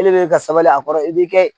E le bɛ ka sabali a kɔrɔ i b'i kɛ